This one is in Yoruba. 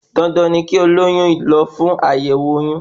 Dandan ni kí olóyún lọ fún Àyẹ̀wọ̀ oyún